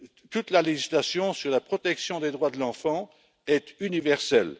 Toute la législation sur la protection des droits de l'enfant est universelle.